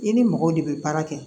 I ni mɔgɔw de bɛ baara kɛ